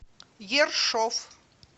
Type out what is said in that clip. ершов